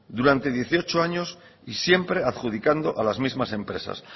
durante dieciocho años y siempre adjudicando a las mismas empresas